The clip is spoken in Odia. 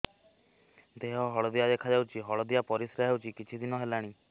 ଦେହ ହଳଦିଆ ଦେଖାଯାଉଛି ହଳଦିଆ ପରିଶ୍ରା ହେଉଛି କିଛିଦିନ ହେଲାଣି